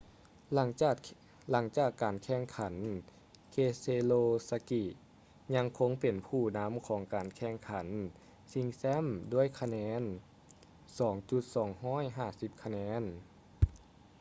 ຫຼັງຈາກການແຂ່ງຂັນ keselowski ຍັງຄົງເປັນຜູ້ນຳຂອງການແຂ່ງຂັນຊິງແຊັມດ້ວຍຄະແນນ 2,250 ຄະແນນ